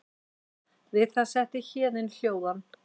Við það setti Héðin hljóðan.